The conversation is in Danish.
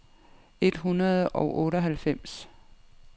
et hundrede og otteoghalvfems